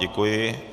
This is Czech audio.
Děkuji.